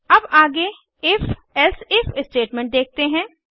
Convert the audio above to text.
अब आगे if else if statement देखते हैं